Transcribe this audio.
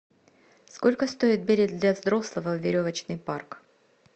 сколько стоит билет для взрослого в веревочный парк